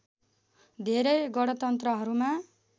धेरै गणतन्त्रहरूमा